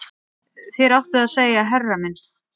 Þér áttuð að segja herra minn